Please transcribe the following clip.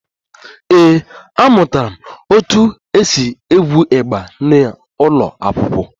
Ee, amụtara m otú e si egwu igba n'ụlọ akwụkwọ